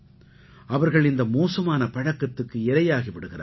அவர்கள் இந்த மோசமான பழக்கத்துக்கு இரையாகி விடுகிறார்கள்